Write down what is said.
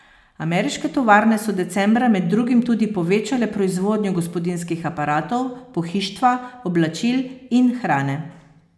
Ameriške tovarne so decembra med drugim tudi povečale proizvodnjo gospodinjskih aparatov, pohištva, oblačil in hrane.